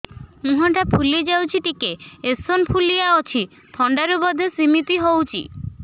ମୁହଁ ଟା ଫୁଲି ଯାଉଛି ଟିକେ ଏଓସିନୋଫିଲିଆ ଅଛି ଥଣ୍ଡା ରୁ ବଧେ ସିମିତି ହଉଚି